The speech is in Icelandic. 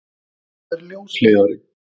Hvað er ljósleiðari?